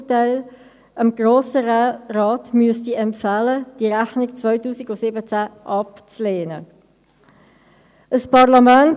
Auch allen anderen: Gratulation zu Ihren Ämtern, die Sie haben und übernehmen dürfen.